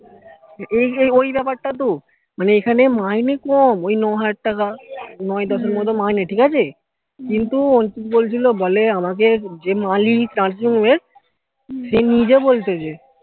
এই যে ওই ব্যাপার টা তো মানে এখানে মাইনে কম ওই ন হাজার টাকা নয় দশের মতো মাইনে ঠিকাছে কিন্তু অঞ্চিত বলছিলো বলে আমাকে যে মালিক তার যে সে নিজে বলছে এসে